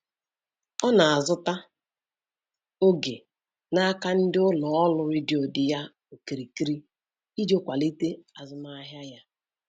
Ọ na-azụta oge n'aka ndị ụlọ ọrụ redio dị ya okirikiri iji kwalite azụmahịa ya.